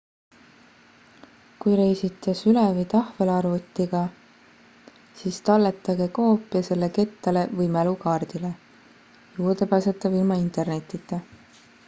kui reisite süle- või tahvelarvutiga siis talletage koopia selle kettale või mälukaardile juurdepääsetav ilma internetita